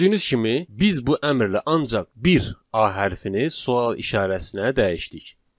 Gördüyünüz kimi, biz bu əmrlə ancaq bir a hərfini sual işarəsinə dəyişdik.